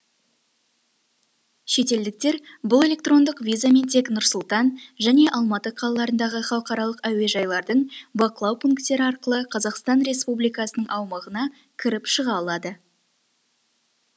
шетелдіктер бұл электрондық визамен тек нұр сұлтан және алматы қалаларындағы халықаралық әуежайлардың бақылау пункттері арқылы қазақстан республикасының аумағына кіріп шыға алады